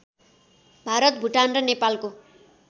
भारत भुटान र नेपालको